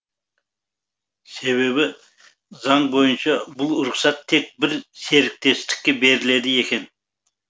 себебі заң бойынша бұл рұқсат тек бір серіктестікке беріледі екен